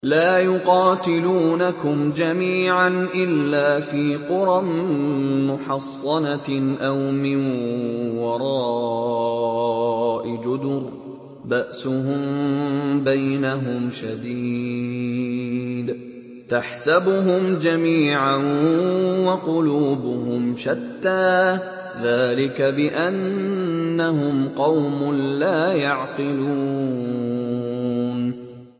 لَا يُقَاتِلُونَكُمْ جَمِيعًا إِلَّا فِي قُرًى مُّحَصَّنَةٍ أَوْ مِن وَرَاءِ جُدُرٍ ۚ بَأْسُهُم بَيْنَهُمْ شَدِيدٌ ۚ تَحْسَبُهُمْ جَمِيعًا وَقُلُوبُهُمْ شَتَّىٰ ۚ ذَٰلِكَ بِأَنَّهُمْ قَوْمٌ لَّا يَعْقِلُونَ